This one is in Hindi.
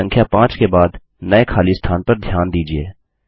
संख्या 5 के बाद नये खली स्थान पर ध्यान दीजिये